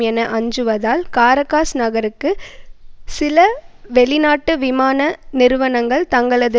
என அஞ்சுவதால் காரகாஸ் நகருக்கு சில வெளிநாட்டு விமான நிறுவனங்கள் தங்களது